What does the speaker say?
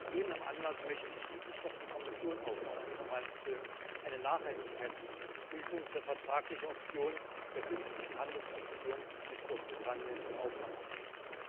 Aus gegebenem Anlass möchte ich schließlich noch die Kommission auffordern, Frau Malmström, eine Nachhaltigkeitsprüfung für vertragliche Optionen der künftigen Handelsbeziehungen mit Großbritannien in Auftrag zu geben.